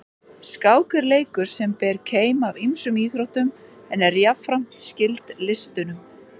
Skák er leikur sem ber keim af ýmsum íþróttum en er jafnframt skyld listunum.